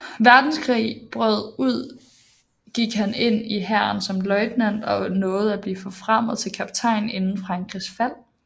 Verdenskrig brød ud gik han ind i hæren som løjtnant og nåede at blive forfremmet til kaptajn inden Frankrigs fald